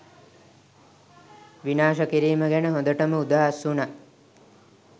විනාශ කිරීම ගැන හොඳටම උදහස් වුනා